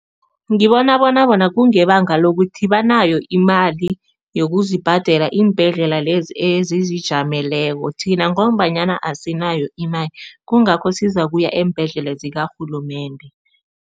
Ngibona bona bona kungebanga lokuthi banayo imali yokuzibhadela iimbhedlela lezi ezizijameleko. Thina ngombanyana asinayo imali, kungakho sizakuya eembhedlela zikarhulumende.